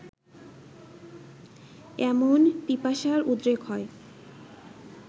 এমন পিপাসার উদ্রেক হয়